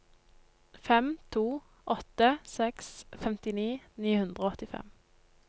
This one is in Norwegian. fem to åtte seks femtini ni hundre og åttifem